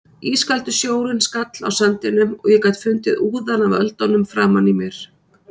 Ískaldur sjórinn skall á sandinum og ég gat fundið úðann af öldunum framan í mér.